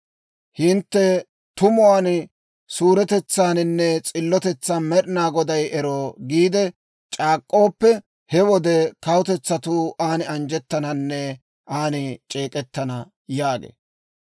hintte tumuwaan, suuretetsaaninne s'illotetsan, ‹Med'inaa Goday ero!› giide c'aak'k'ooppe, he wode kawutetsatuu an anjjettananne an c'eek'k'ana» yaagee.